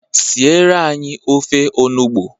Siere anyị ofe onugbu!